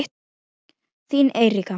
Þín Eiríka.